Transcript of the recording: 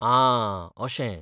आं, अशें.